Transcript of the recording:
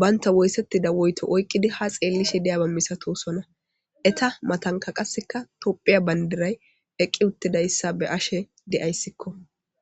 bantaw wothetida woyitto oyqidi ha xelliyaba milatosona eta mattanka qaseka tophphya bandiray eqqi uttidaysa be'ashe de'ayisekko.